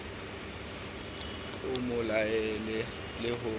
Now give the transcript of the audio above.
a mo laole le ho